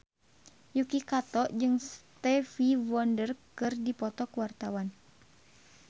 Yuki Kato jeung Stevie Wonder keur dipoto ku wartawan